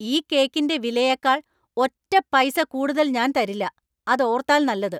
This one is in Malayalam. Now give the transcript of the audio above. ഈ കേക്കിന്‍റെ വിലയേക്കാള്‍ ഒറ്റ പൈസ കൂടുതൽ ഞാൻ തരില്ല ! അത് ഓർത്താല്‍ നല്ലത്!